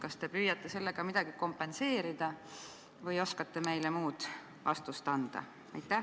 Kas te püüate sellega midagi kompenseerida või oskate meile mingi muu vastuse anda?